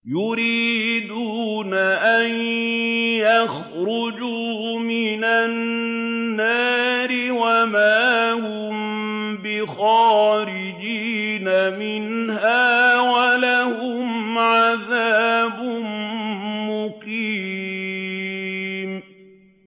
يُرِيدُونَ أَن يَخْرُجُوا مِنَ النَّارِ وَمَا هُم بِخَارِجِينَ مِنْهَا ۖ وَلَهُمْ عَذَابٌ مُّقِيمٌ